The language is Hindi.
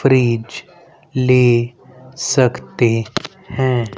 फ्रीज ले सकते है।